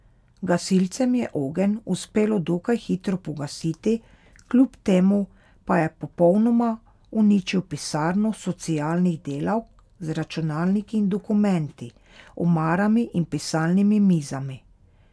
Gasilcem je ogenj uspelo dokaj hitro pogasiti, kljub temu pa je popolnoma uničil pisarno socialnih delavk z računalniki in dokumenti, omarami in pisalnimi mizami.